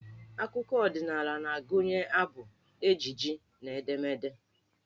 Akụkọ ọdịnaala na-agụnye abụ, ejije na edemede.